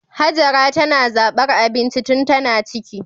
Hajara tana zabar abinci tun tana ciki